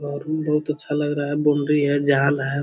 घर में बहुत अच्छा लग रहा है बाउंड्री है झाल है।